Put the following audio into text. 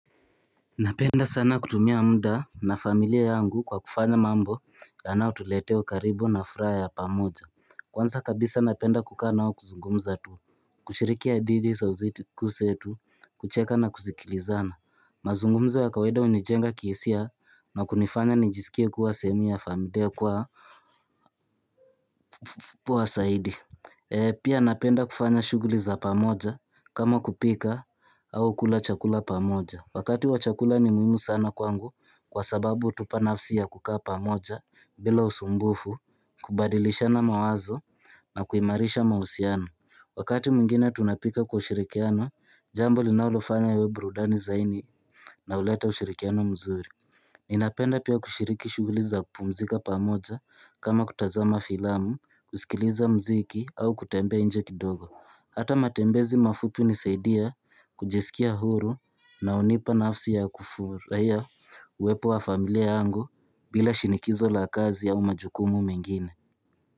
Napenda sana kutumia muda na familia yangu kwa kufanya mambo yanao tuletea ukaribu na furaha ya pamoja Kwanza kabisa napenda kukaanao kuzungumza tu Kuchirikia didi sa uzitikuse tu kucheka na kuzikilizana Mazungumza wa kawaida hunijenga kiesia na kunifanya nijisikie kuwa sehemu ya familia kwa kubwa saidi Pia napenda kufanya shuguli za pamoja kama kupika au kula chakula pamoja Wakati wachakula ni muhimu sana kwangu kwa sababu utupa nafsi ya kukaa pamoja bila usumbufu, kubadilisha na mawazo na kuimarisha mausiano. Wakati mingine tunapika kwa ushirikiano, jambo linaulofanya awe brudani zaini na uleta ushirikiano mzuri. Ninapenda pia kushiriki shuguliza kupumzika pamoja kama kutazama filamu, kusikiliza mziki au kutembea inje kidogo. Hata matembezi mafupi nisaidia kujisikia huru na unipa nafsi ya kufuruHaia uwepo wa familia angu bila shinikizo la kazi au majukumu mengine.